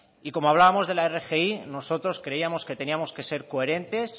y como hablábamos de la rgi nosotros creíamos que teníamos que ser coherentes